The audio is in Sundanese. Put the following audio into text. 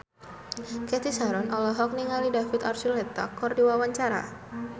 Cathy Sharon olohok ningali David Archuletta keur diwawancara